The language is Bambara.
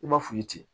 I m'a f'u ye ten